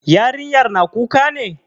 Yarinyar na kuka ne?